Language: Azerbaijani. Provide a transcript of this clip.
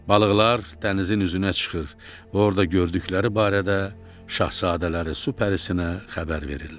Balıqlar dənizin üzünə çıxır və orda gördükləri barədə şahzadələri su pərisinə xəbər verirlər.